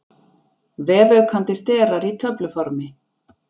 Vefaukandi sterar í töfluformi.